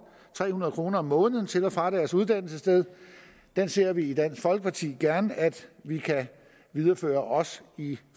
tre hundrede kroner om måneden til og fra deres uddannelsessted den ser vi i dansk folkeparti gerne at vi kan videreføre i